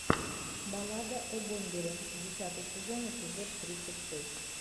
баллада о бомбере десятый сезон эпизод тридцать шесть